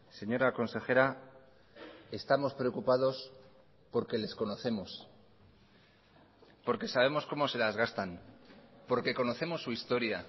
señora consejera estamos preocupados porque les conocemos porque sabemos cómo se las gastan porque conocemos su historia